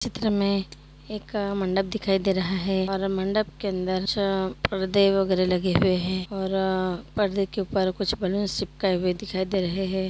इस चित्र में एक मंडप दिखाई दे रहा है। और मंडप के अंदर कुछ परदे वगेरा लगे हुए है और आ परदे के ऊपर कुछ बैलून्स चिपकए हुए दिखाई दे रहे हैं।